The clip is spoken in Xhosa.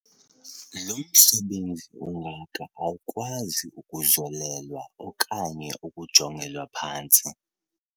Lo msebenzi ungaka awukwazi ukuzolelwa okanye ukujongelwa phantsi.